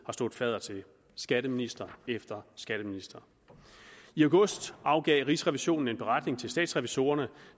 stået fadder til skatteminister efter skatteminister i august afgav rigsrevisionen en beretning til statsrevisorerne